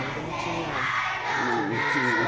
Ainda não tinha não tinha não não tinha nenhuma